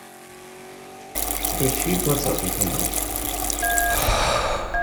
включи двадцатый канал